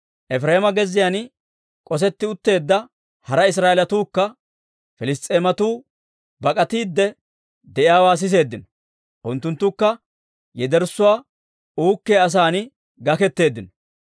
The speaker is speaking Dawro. Efireema gezziyaan k'osetti utteedda hara Israa'eelatuukka Piliss's'eematuu bak'atiidde de'iyaawaa siseeddino. Unttunttukka yederssuwaa uukkiyaa asan gaketeeddino.